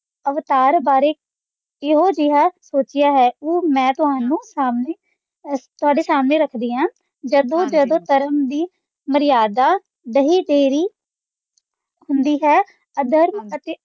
ਅਵਤਾਰ ਬਾਰੇ ਇਹੋ ਜੇਹਾ ਸੋਚਇਆ ਹੈ, ਮੈਂ ਤੁਹਾਨੂੰ ਤੁਹਾਡੇ ਸਾਹਮਣੇ ਰੱਖਦੀ ਹਾਂ ਜਦੋਂ - ਜਦੋਂ ਧਰਮ ਦੀ ਮਰਿਯਾਦਾ ਦਹੇ ਤੇਰੀ ਹੁੰਦੀ ਹੈ ਅਧਰਮ ਅਤੇ